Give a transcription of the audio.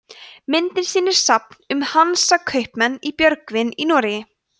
myndin sýnir safn um hansakaupmenn í björgvin í noregi